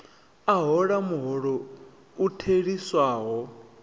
a hola muholo u theliswaho